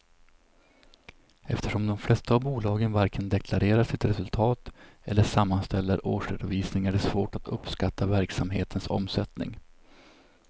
Eftersom de flesta av bolagen varken deklarerar sitt resultat eller sammanställer årsredovisning är det svårt att uppskatta verksamhetens omsättning.